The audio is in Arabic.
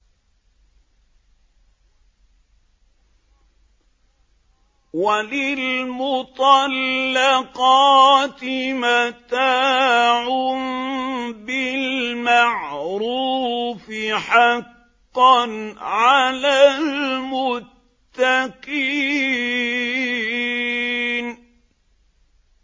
وَلِلْمُطَلَّقَاتِ مَتَاعٌ بِالْمَعْرُوفِ ۖ حَقًّا عَلَى الْمُتَّقِينَ